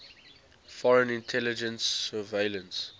foreign intelligence surveillance